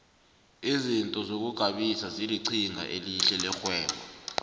izinto zokugabisa zilinqhinga elihle lerhwebo